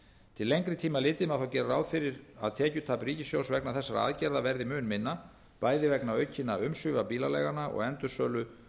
til lengri tíma litið má þó gera ráð fyrir að tekjutap ríkissjóðs vegna þessarar aðgerðar verði mun minna bæði vegna aukinna umsvifa bílaleiganna og endursölu